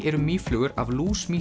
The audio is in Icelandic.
eru mýflugur af